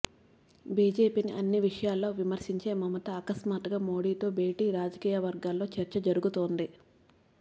బీజేపీని అన్ని విషయాల్లో విమర్శించే మమత అకస్మాత్గా మోదీతో భేటీతో రాజకీయవర్గాల్లో చర్చ జరుగుతోంది